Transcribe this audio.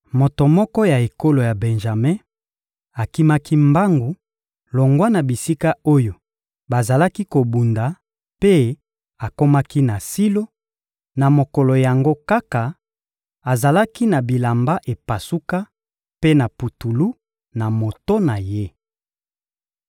Moto moko ya ekolo ya Benjame akimaki mbangu longwa na bisika oyo bazalaki kobunda mpe akomaki na Silo, na mokolo yango kaka; azalaki na bilamba epasuka, mpe na putulu, na moto na ye.